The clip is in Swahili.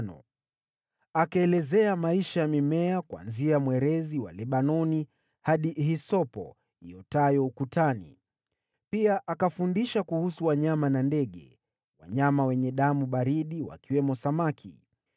Akaelezea maisha ya mimea kuanzia mwerezi wa Lebanoni hadi hisopo iotayo ukutani. Pia akafundisha kuhusu wanyama na ndege, wanyama wenye damu baridi, wakiwemo samaki.